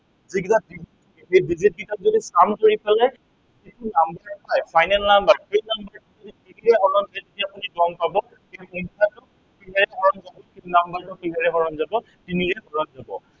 এই যে এই সংখ্য়াকেইটাক যদি count কৰি পেলাই, যিটো number টো পায়, final number সেই number কেইটা add কৰি কেনে আপুনি গম পাব এই সংখ্য়াটো কিহেৰে হৰণ যাব, সেই number টো কিহেৰে হৰণ যাব, তিনিৰে হৰণ যাব